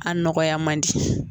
A nɔgɔya man di.